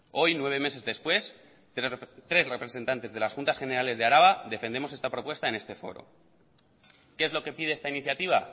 hoy nueve meses después tres representantes de las juntas generales de araba defendemos esta propuesta en este foro qué es lo que pide esta iniciativa